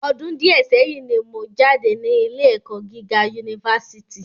Ọdún díẹ̀ sẹ́yín ni mo jáde ní ilé ẹ̀kọ́ gíga Unifásítì